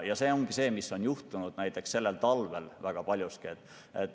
See ongi see, mis on juhtunud sellel talvel.